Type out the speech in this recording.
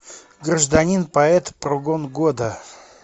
гражданин поэт прогон года